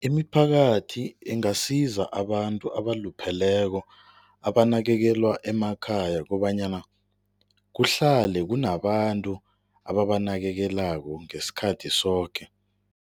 Imiphakathi ingasiza abantu abalupheleko, abanakekelwa emakhaya kobanyana kuhlale kunabantu ababanakekelako ngesikhathi soke.